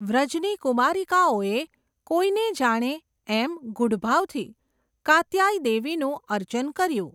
વ્રજની કુમારિકાઓએ, કોઈને જાણે, એમ, ગુઢભાવથી, કાત્યાય દેવીનું અર્ચન કર્યું.